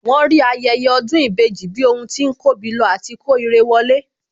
Wọ́n rí ayẹyẹ ọdún ìbejì bí ohun tí ń kóbi lọ àti kó irẹ wọlé